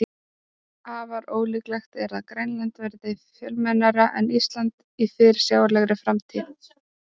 Afar ólíklegt er að Grænland verði fjölmennara en Ísland í fyrirsjáanlegri framtíð.